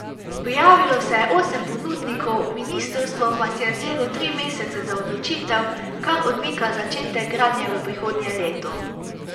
Prijavilo se je osem ponudnikov, ministrstvo pa si je vzelo tri mesece za odločitev, kar odmika začetek gradnje v prihodnje leto.